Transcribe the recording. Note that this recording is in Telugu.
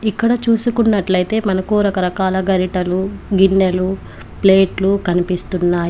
ఇక్కడ చూసుకున్నట్లైతే మనకు రకరకాల గరిటలు గిన్నెలు ప్లేట్లు కనిపిస్తున్నాయి.